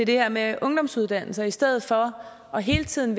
det her med ungdomsuddannelserne i stedet for hele tiden